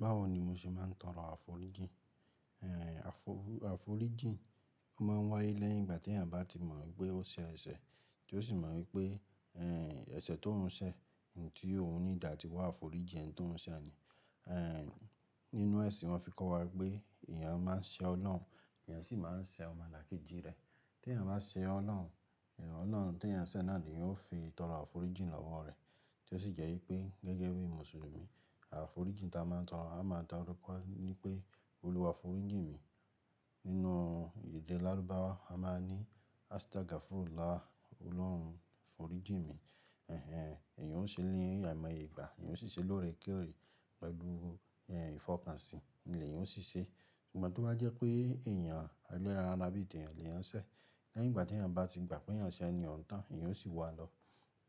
Báwo ni mo ṣe máa ń toro àforíjì? Àforíjì máa ń wáyé lẹ́yìn ìgbà tí èèyàn bá ti mọ̀ pé ó ṣe ẹsẹ̀ tí ó sì mọ̀ wípé ẹsẹ̀ tó ń ṣe, òun need àti wá àforíjìn ẹni tó ń ṣe ni. Nínú ẹ̀sìn wa fi kọ́ wa pé èèyàn máa ń ṣe Ọlọ́run, èèyàn sì máa ń ṣe ọmọlàkejì rẹ̀. Tí èèyàn bá ṣe Ọlọ́run, Ọlọ́run tí èèyàn ń ṣe náà ni yóò fi ìtọrọ àforíjì lọ́wọ́ rẹ̀ tí ó sì jẹ́ wípé gẹ́gẹ́ bí Mùsùlùmí àforíjì tí a máa ń taro, a máa so wi pé Olúwa foríjì mi. Nínú èdè Lárúbáwa a máa ní "Astagfirullah", Ọlọ́run foríjìn mi. Eeyan ò ṣe ni àìmọye ìgbà, eeyan ò ṣi ṣe lórekoore, pẹ̀lú ìfọkànsìn ni eeyan óò ṣi ṣe. Ṣùgbọ́n tó bá jẹ́ pé èèyàn ẹ́leran ara bì teyan lèyan ṣẹ̀, lẹ́yìn ìgbà tí èèyàn bá ti gbà pé èèyàn ṣe ẹni oun tán, èèyàn ó sì wá lọ,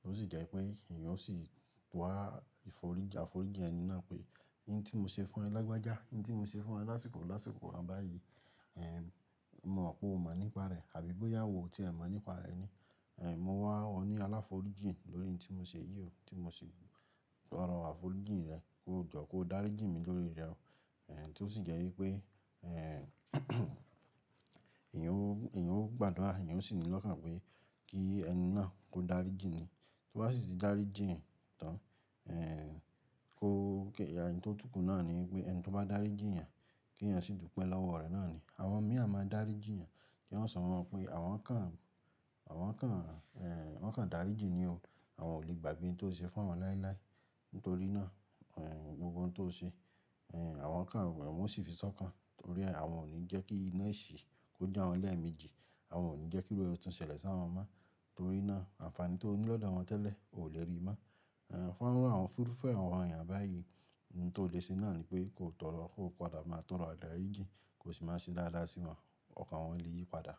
ó sì jẹ́ wípé èèyàn ó sì àforíjì ẹni náà pé, "oun tí mo ṣe fún ẹ lágbájá, oun tí mo ṣe fún ẹ lásìkò lásìkò báyìí, mo mọ̀ pé o mọ̀ nípa rẹ̀ àbí bóyá ò tí ẹ mọ̀ nípa rẹ̀ ni. Mo wá ọ ní àláforíjì lórí ohun tí mo ṣe yìí o, tí mo ṣe tọrọ àforíjì rẹ kó jọ̀ ó, kó dáríjì mí lórí rẹ̀ o." Tí ó sì jẹ́ wípé èèyàn ó gbàdúrà, èèyàn ó sì ní lọ́kàn pé kí ẹni náà kó dáríjì ni. To ba sì ti dáríjì yan tán kó, ohun tí ó túnkù náà ni wípé ẹni tí ó bá dáríjì yàn, kí èèyàn sì dúpẹ́ lọ́wọ́ rẹ́ náà ni. Àwọn mìíràn máa dáríjì yàn kí wan sọ fun o pé àwọn kan dáríjì ni o, àwọn ò lè gbàgbe ohun tí o ṣe fún awọn láilái. Nítorí náà ohun gbogbo tí o ṣe, àwọn kan wọ́n sì fi sọ́kàn torí àwọn ò ní jẹ́ kí iná ìṣí kó jo awọ́n lẹ́ẹ̀mejì. Àwọn ò ní jẹ́ kí irun ẹ tu ṣẹlẹ̀ sí àwọn mọ. Torí náà àǹfààní tí o ní lọ́dọ̀ àwọn tẹ́lẹ̀ o lè rí mọ́. Fun irufe àwọn èèyàn báyìí, ohun tí ó le ṣe náà ni pé kò tọrọ, kò padà máa tọrọ idáríjì, kò sì máa ṣe dáadáa sí wọn. Ọ̀kan wọn lè yí padà.